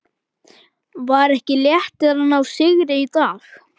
Var ekki léttir að ná sigri í dag?